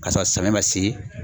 Ka sɔrɔ samiya ma se